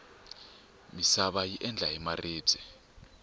misava yi endla hi maribye